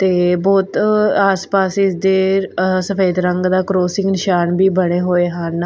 ਤੇ ਬਹੁਤ ਆਸ ਪਾਸ ਇਸ ਦੇ ਸਫੇਦ ਰੰਗ ਦਾ ਕਰੋਸਿੰਗ ਨਿਸ਼ਾਨ ਵੀ ਬਣੇ ਹੋਏ ਹਨ।